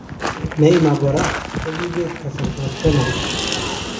Neymar kora kokipeta kasartap penelt